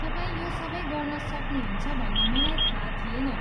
तपाईँ यो सबै गर्न सक्नुहुन्छ भन्ने मलाई थाहा थिएन।